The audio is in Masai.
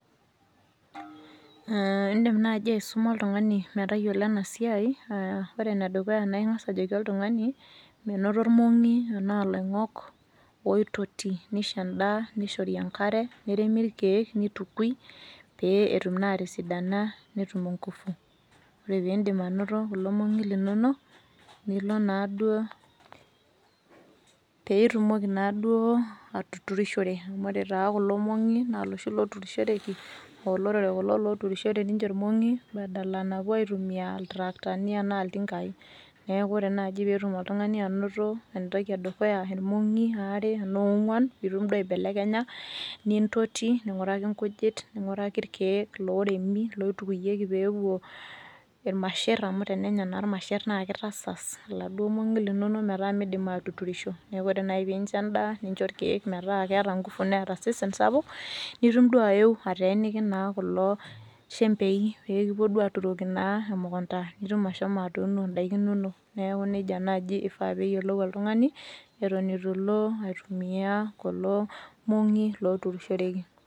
[hhh] indim naji aisuma oltung'ani metayiolo enasiai aah ore enedukuya naing'as ajoki oltung'ani menoto irmong'i anaa loing'ok ooitoti neisho endaa neishori enkare, neremi irkeek, neitukui pee etum naa atisidana netum ingufu. Ore piindim anoto kulo mong'i linono nilo naduo, pee itumoki naaduo atuturishore amu ore taaduo kulo mong'i naa loshi looturoshoreki oolorere kulo loshi looturishore ninche irmong'i badala napuo aitumia iltraktani anaa iltingai. Neaku ore naji peetum oltung'ani anoto entoki edukuya irmong'i aare anaa oong'uan piitum duo aibelekenya nintoti, ning'uraki nkujit ning'uraki irkeek looremi, loitukuyeki peepuo ilmasherr amu tenenya naa ilmasherr naakeitasas laduo mong'i linono metaa meidim atuturisho neaku ore nai piincho endaa nincho irkeek metaa keeta  ngufu neeta osesen sapuk nitum duo aeu ateeniki naa kulo shembei peekipuo aaturoki duo emukunta nitum ashomo atuuno indaiki inono. Neaku neija naji eifaa peeyiolou oltung'ani eton eitu ilo aitumia kulo mong'i looturishoreki.